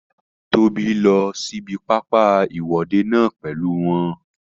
Tóbi lọ sí ibi pápá ìwọ́de náà pèlú wọn